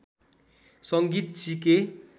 संगीत सिके